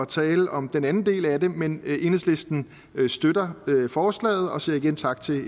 tale om den anden del af det men enhedslisten støtter forslaget og siger igen tak til